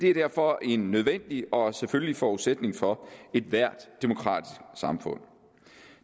er derfor en nødvendig og selvfølgelig forudsætning for ethvert demokratisk samfund